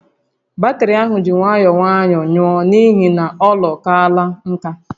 Batrị ahụ ji nwayọọ nwayọọ nwụọ n'ihi na olọ kaala nkà